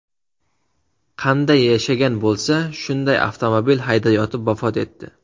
Qanday yashagan bo‘lsa, shunday avtomobil haydayotib vafot etdi.